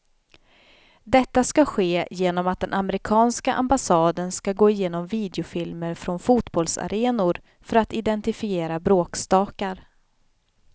Detta ska ske genom att den amerikanska ambassaden ska gå igenom videofilmer från fotbollsarenor för att identifiera bråkstakar.